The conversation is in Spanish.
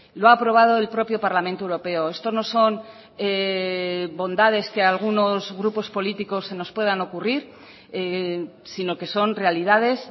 lo ha aprobado el propio parlamento europeo esto no son bondades que algunos grupos políticos se nos puedan ocurrir sino que son realidades